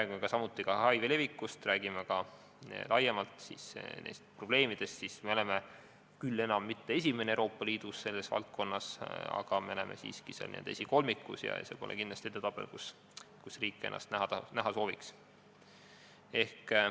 Kui me räägime HIV levikust, räägime laiemalt neist probleemidest, siis me ei ole küll selles valdkonnas enam esimene Euroopa Liidus, aga me oleme siiski esikolmikus ja see pole kindlasti edetabel, kus riik ennast eesotsas näha sooviks.